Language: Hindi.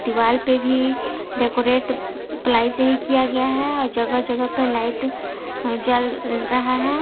दीवाल पे भी डेकोरेट प्लाई से ही किया गया है जगह जगह पे लाइट जल रहा है।